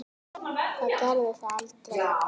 Það gerði það aldrei.